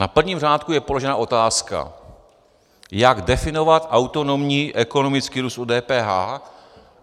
Na prvním řádku je položena otázka: Jak definovat autonomní ekonomický růst u DPH?